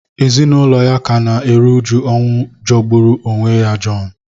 Ezinụlọ ya ka na-eru uju ọnwụ jọgburu onwe ya John